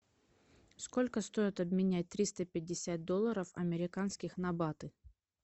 сколько стоит обменять триста пятьдесят долларов американских на баты